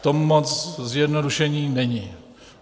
V tom moc zjednodušení není.